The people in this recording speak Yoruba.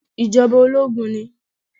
Ìjọba ológun ni